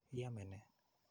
Iame ne?